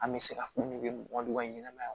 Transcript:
An bɛ se ka fɔ ne bɛ mɔgɔ ka ɲɛnɛmaya